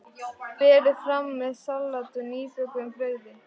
Berið fram með salati og nýbökuðu brauði.